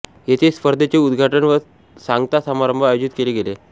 येथे स्पर्धेचे उद्घाटन व सांगता समारंभ आयोजित केले गेले